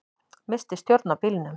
Missti stjórn á bílnum